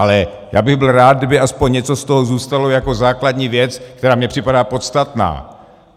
Ale já bych byl rád, aby aspoň něco z toho zůstalo jako základní věc, která mně připadá podstatná.